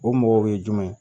O mɔgɔw ye jumɛn ye